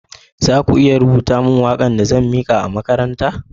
Za ki iya rubuta min waka'n da zan mike a'makaranta gobe?